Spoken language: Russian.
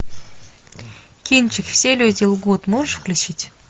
кинчик все люди лгут можешь включить